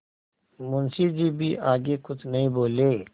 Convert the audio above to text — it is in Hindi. मुंशी जी भी आगे कुछ नहीं बोले